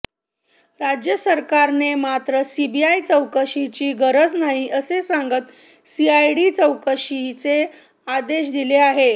राज्य सरकारने मात्र सीबीआय चौकशीची गरज नाही असे सांगत सीआयडी चौकशीचे आदेश दिले होते